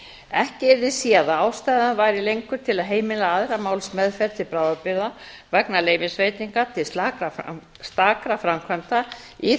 ekki yrði séð að ástæða væri lengur til að heimila aðra málsmeðferð til bráðabirgða vegna leyfisveitinga til stakra framkvæmda í